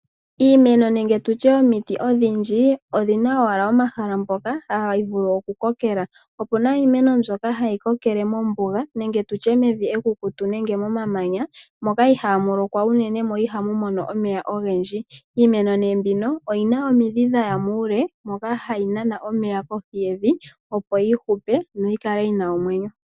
Iimeno nenge omiti odhindji odhi na owala omahala mpoka hadhi vulu okukokela opu na iimeno mbyoka hayi kokele mombuga nenge mevi ekukutu nenge momamanya moka iha mu lokwa unene mo iha mu mono omeya ogendji. Iimeno mbika oyi na omidhi dhaya muule moka hayi nana omeya kohi yevi opo yi hupe noyi kale yi na omwenyo.